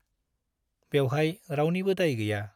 बेवहाय रावनिबो दाय गैया ।